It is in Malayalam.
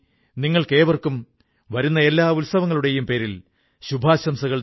നിങ്ങൾക്കും മുഴുവൻ കുടുംബത്തിനും വരാൻ പോകുന്ന ഉത്സവങ്ങളുടെ അനേകമനേകം ആശംസകൾ